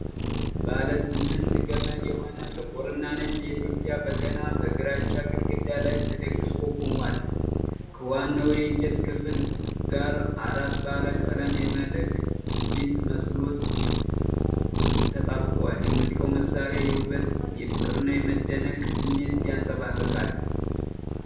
ባለ ስምንት ገመድ የሆነ ጥቁርና ነጭ የኢትዮጵያ በገና በግራጫ ግድግዳ ላይ ተደግፎ ቆሟል። ከዋናው የእንጨት ክፍል ጋር አራት ባለ ቀለም የመላእክት ፊት ምስሎች ተጣብቀዋል። የሙዚቃው መሳሪያ ውበት የፍቅርና የመደነቅ ስሜት ያንጸባርቃል።